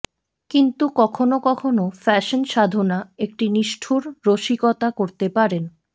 কিন্তু কখনও কখনও ফ্যাশন সাধনা একটি নিষ্ঠুর রসিকতা করতে পারেন